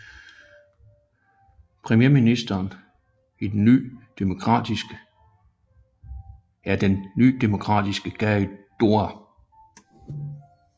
Premierministeren er den Ny Demokratiske Gary Doer